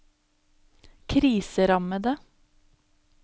kriserammede